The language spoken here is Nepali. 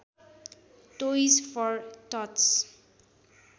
toys for टट्स